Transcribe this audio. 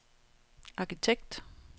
arkitekt